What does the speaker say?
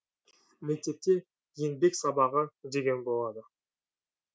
мектепте еңбек сабағы деген болады